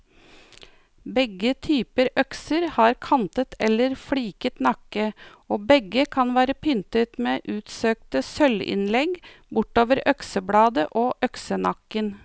Begge typer økser har kantet eller fliket nakke, og begge kan være pyntet med utsøkte sølvinnlegg bortover øksebladet og øksenakken.